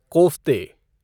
कोफ़्ते